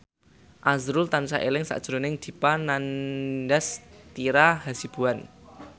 azrul tansah eling sakjroning Dipa Nandastyra Hasibuan